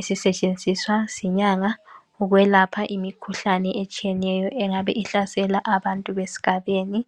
Esisetshenziswa zinyanga ukwelapha imikhuhlane etshiyetshiyeneyo engabe ihlasela abantu besigabeni.